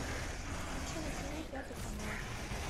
включи на тв пятый канал